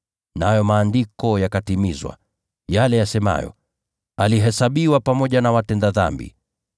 Nayo maandiko yakatimizwa, yale yasemayo, “Alihesabiwa pamoja na watenda dhambi.]”